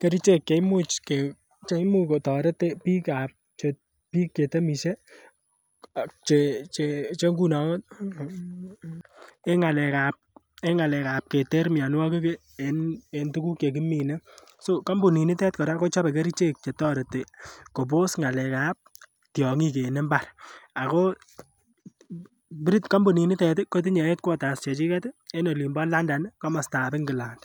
kerichek cheimuch kotoret biikab biik chetemisie che che ngunon en ng'alek ab keter mionwogik en tuguk chekimine so kampunit nitet kora kochobe kerichek chetoreti kobos ng'alek ab tiong'ik en mbar ako kampunit niton kotinye headquarters chechiket en olin bo London komostab England